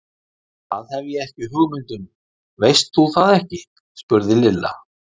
Það hef ég ekki hugmynd um, veist þú það ekki? spurði Lilla.